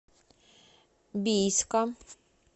бийска